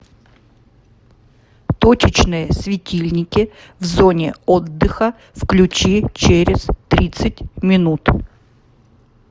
точечные светильники в зоне отдыха включи через тридцать минут